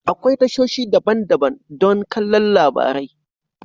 Akwai tashoshi daban-daban don kallon labarai.